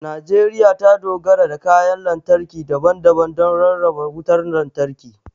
Najeriya ta dogara da kayan lantarki daban-daban don rarraba wutar lantarki.